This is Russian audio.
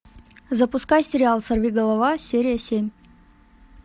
запускай сериал сорвиголова серия семь